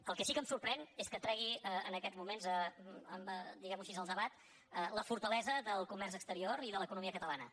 el que sí que em sorprèn és que tregui en aquests moments diguem ho així en el debat la fortalesa del comerç exterior i de l’economia catalana